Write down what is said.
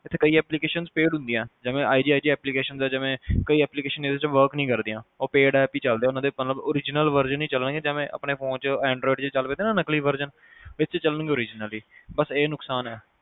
ਇੱਥੇ ਕਈ application's paid ਹੁੰਦੀਆਂ ਜਿਵੇ IGIG Application ਦਾ ਜਿਵੇ ਕਈ application ਇਹਦੇ ਚ work ਨਹੀ ਕਰਦੀਆਂ ਉਹ paid apps ਈ ਚੱਲਦੇ ਉਨ੍ਹਾਂ ਦੇ ਮਤਲਬ original Virgin ਨਹੀ ਚੱਲਣਗੇ ਜਿਵੇ ਆਪਣੇ phone ਚ android ਚੱਲ ਪੈਦੇ ਨਾ ਨਕਲੀ Virgini ਇਚ ਚੱਲਣਗੇ original ਈ